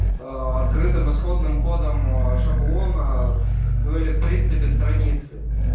аа открытым исходным кодом шаблона ну или в принципе страницы